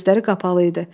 Gözləri qapalı idi.